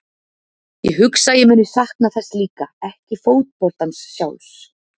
Ég hugsa að ég muni sakna þess líka, ekki fótboltans sjálfs.